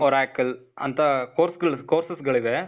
Oracle ಅಂತಾ course ಗಳ್, courses ಗಳಿವೆ.